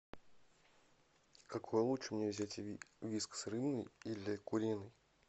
какой лучше мне взять вискас рыбный или куриный